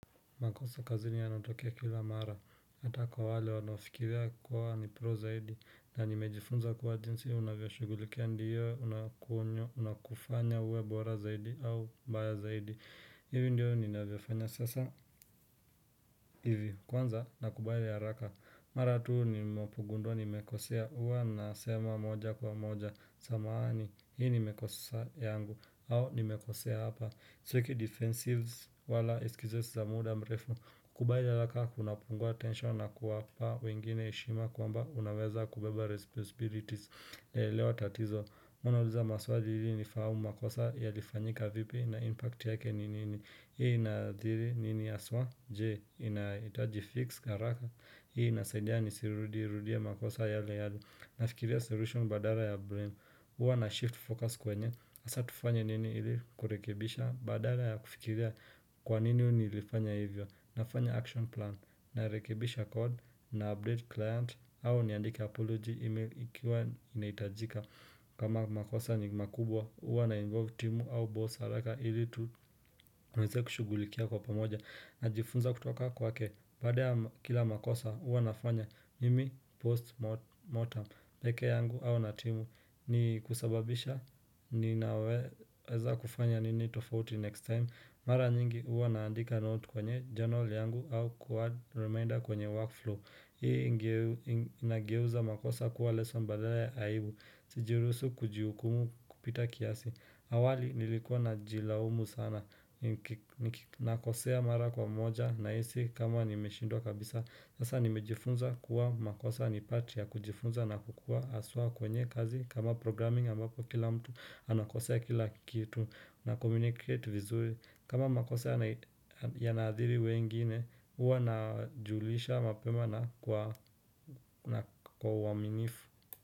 Makosa kazi ni anatokea kila mara, hata kwa wale wanafikiria kuwa ni pro zaidi, na nimejifunza kwa jinsi, unavyashugulikia ndiyo, unakunyo, unaokufanya uwebora zaidi au mbaya zaidi, hivi ndiyo ni navyofanya sasa hivi, kwanza nakubali haraka, maratu ninapongundua ni mekosea, huwa nasema moja kwa moja, samaani, hii ni mekosa yangu, au ni mekosea hapa, Siki defensives wala eskizos za muda mrefu kubaila laka kuna pungua tensho na kuwa pa wengine ishima kwa mba unaweza kubeba responsibilities elewa tatizo huwa nauliza maswali ili ni fahamu makosa yalifanyika vipi na impact yake ni nini Hii na dhili nini aswa je inaita jifix haraka hii nasendia ni sirudia makosa yale yado nafikiria solution badala ya brain uwa na shift focus kwenye asa tufanya nini ili kurekebisha badala ya kufikiria kwa nini nilifanya hivyo nafanya action plan na rekebisha code na update client au niandike apology email ikiwa inaitajika kama makosa ni makubwa uwa na involve timu au boss haraka ili tuweze kushugulikia kwa pamoja na jifunza kutoka kwa ke baada kila makosa uwa nafanya mimi postmortem peke yangu au natimu ni kusababisha ninaweza kufanya nini tofauti next time Mara nyingi uwa naandika note kwenye journal yangu au quad reminder kwenye workflow Hii inageuza makosa kuwa lesson badala ya aibu Sijiruhusu kujiukumu kupita kiasi awali nilikuwa na jilaumu sana Nakosea mara kwa moja na isi kama nimeshindwa kabisa Sasa nimejifunza kuwa makosa ni pati ya kujifunza na kukua aswa kwenye kazi kama programming ambako kila mtu anakosa ya kila kitu na communicate vizuri kama makosa ya nadhiri wengine uwa na julisha mapema na kwa uwaminifu.